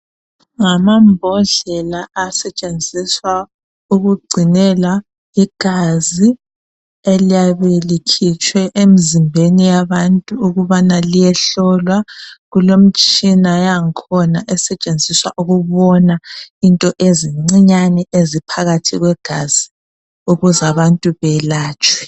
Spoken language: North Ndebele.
Ngamambodlela asetshenziswa ukugcinela igazi eliyabe likhitshwe emzimbeni yabantu ukubana liyehlolwa. Kulemtshina yangakhona esetshenziswa ukubona into ezincinyane eziphakathi kwegazi. Ukuzabantu belatshwe.